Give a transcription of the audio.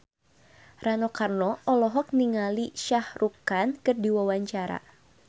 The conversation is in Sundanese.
Rano Karno olohok ningali Shah Rukh Khan keur diwawancara